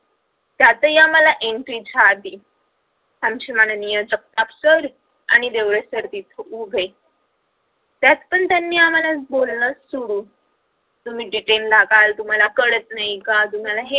त्यातही आम्हाला entry च्या आधी आमचे माननीय जगताप सर आणि देवरे सर तिथे उभे त्यातपण त्यांनी आम्हाला बोलणे सुरू तुम्ही detend लागाल तुम्हाला कळत नाही का तु्म्हाला हे